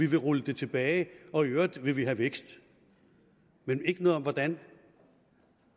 vil rulle det tilbage og i øvrigt vil man have vækst men ikke noget om hvordan